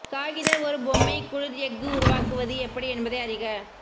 காகித ஒரு பொம்மை குளிர் எஃகு உருவாக்குவது எப்படி என்பதை அறிக